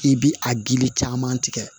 I bi a gili caman tigɛ